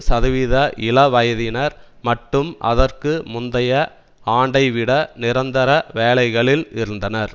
சதவீத இளவயதினர் மட்டும் அதற்கு முந்தைய ஆண்டைவிட நிரந்தர வேலைகளில் இருந்தனர்